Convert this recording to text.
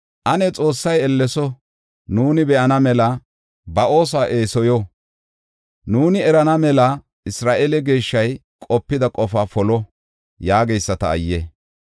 “Ane Xoossay elleso! Nuuni be7ana mela ba oosuwa eesoyo! Nuuni erana mela Isra7eele Geeshshay qopida qofaa polo” yaageyisata ayye!